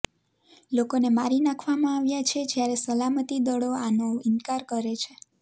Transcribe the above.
લોકોને મારી નાંખવામાં આવ્યા છે જયારે સલામતી દળો આનો ઇન્કાર કરે છે